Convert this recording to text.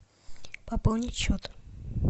пополнить счет